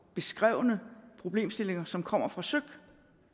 beskrevne problemstillinger som kommer fra søik